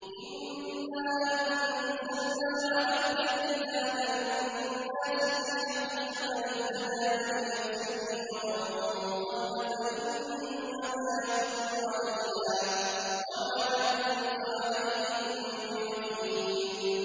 إِنَّا أَنزَلْنَا عَلَيْكَ الْكِتَابَ لِلنَّاسِ بِالْحَقِّ ۖ فَمَنِ اهْتَدَىٰ فَلِنَفْسِهِ ۖ وَمَن ضَلَّ فَإِنَّمَا يَضِلُّ عَلَيْهَا ۖ وَمَا أَنتَ عَلَيْهِم بِوَكِيلٍ